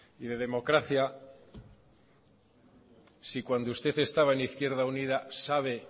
y de democracia si cuando usted estaba en izquierda unida sabe